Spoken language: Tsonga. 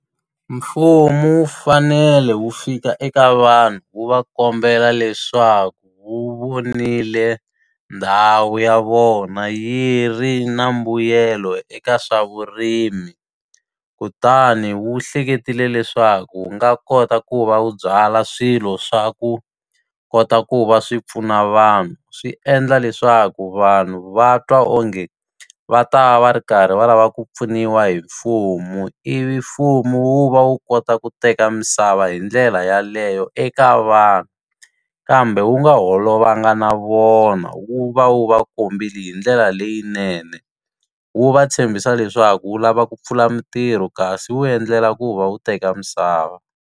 Mfumo wu fanele wu fika eka vanhu wu va kombela leswaku wu vonile ndhawu ya vona yi ri na mbuyelo eka swa vurimi, kutani wu hleketile leswaku wu nga kota ku va wu byala swilo swa ku kota ku va swi pfuna vanhu. Swi endla leswaku vanhu va twa onge va ta va ri karhi va lava ku pfuniwa hi mfumo, ivi mfumo wu va wu kota ku teka misava hi ndlela yaleyo eka vanhu. Kambe wu nga holova nga na vona, wu va wu va kombile hi ndlela leyinene. Wu va tshembisa leswaku wu lava ku pfula mitirho kasi wu endlela ku va wu teka misava.